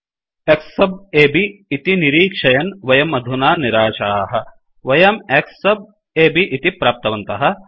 X sub अब् इति निरीक्षयन् वयम् अधुना निराशाः वयं X सब् A B इति प्राप्तवन्तः